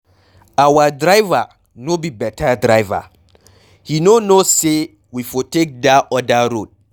Our diver no be beta driver, he no know say we for take dat other road.